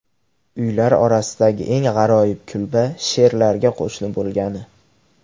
Uylar orasidagi eng g‘aroyib kulba sherlarga qo‘shni bo‘lgani.